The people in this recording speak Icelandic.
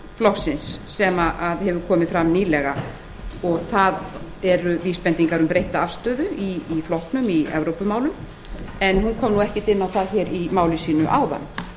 flokksins sem hafa komið fram nýlega þau eru vísbending um breytta afstöðu í flokknum í evrópumálum hæstvirtur menntamálaráðherra kom þó ekkert inn á það í máli sínu áðan